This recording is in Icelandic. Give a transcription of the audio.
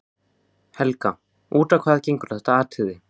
Helga: Út á hvað gengur þetta atriði?